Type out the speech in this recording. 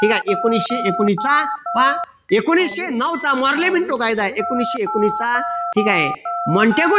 ठीक आहे एकोणविशे एकोणवीस चा पहा एकोणविशे नऊ चा मोर्लेमिंटो कायदा एकोणविशे एकोणवीस चा ठीक आहे